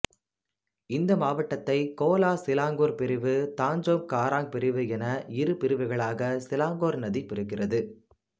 இந்த மாவட்டத்தைக் Kuala Selangor பிரிவு தஞ்சோங் காராங் பிரிவு என இரு பிரிவுகளாக சிலாங்கூர் நதி பிரிக்கின்றது